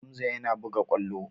Hamza yana buga ƙwallo.